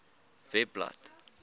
webblad